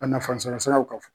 A nafan sɔrɔ siraw ka f